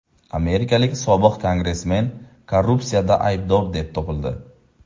Amerikalik sobiq kongressmen korrupsiyada aybdor deb topildi.